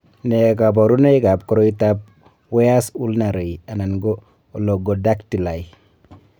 Nee kabarunoikab koriotoab Weyers ulnar ray/oligodactyly?